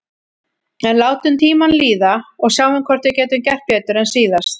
En látum tímann líða og sjáum hvort við getum gert betur en síðast.